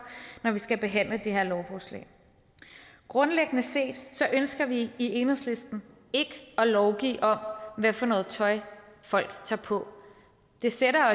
når vi skal behandle det her lovforslag grundlæggende set ønsker vi i enhedslisten ikke at lovgive om hvad for noget tøj folk tager på det sætter